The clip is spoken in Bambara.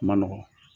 Ma nɔgɔ